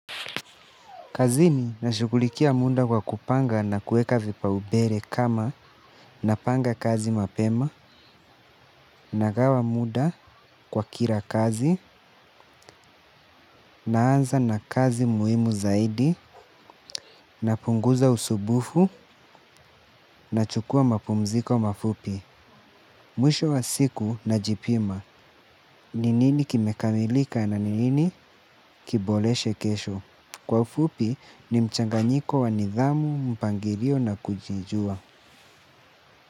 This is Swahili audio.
Kazini nashughulikia munda kwa kupanga na kueka vipaubere kama napanga kazi mapema nagawa muda kwa kila kazi naanza na kazi muhimu zaidi napunguza usubufu nachukua mapumziko mafupi. Mwisho wa siku najipima, ni nini kimekamilika na ni nini kiboleshe kesho. Kwa ufupi ni mchanganyiko wa nidhamu, mpangilio na kujijua.